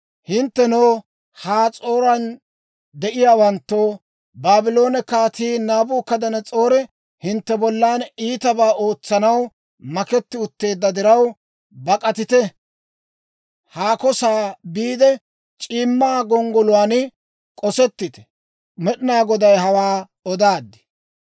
«Hinttenoo, Has'ooran de'iyaawanttoo, Baabloone Kaatii Naabukadanas'oori hintte bollan iitabaa ootsanaw mak'etti utteedda diraw, bak'atite; haako sa'aa biide, c'iimma gonggoluwaan k'osettite! Med'inaa Goday hawaa odaad.